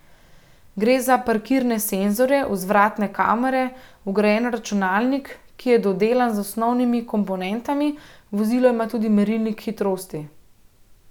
Gre za parkirne senzorje, vzvratne kamere, vgrajen računalnik, ki je dodelan z osnovnimi komponentami, vozilo ima tudi merilnik hitrosti.